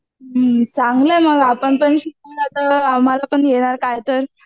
हम्म चांगल आहे मग आपण पण शिकू तर आपण पण काय तर